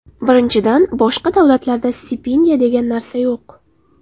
Birinchidan, boshqa davlatlarda stipendiya degan narsa yo‘q.